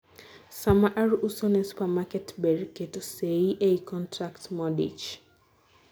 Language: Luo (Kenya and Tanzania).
saa mar uso ne supermarket, ber keto seyi ei contracts modich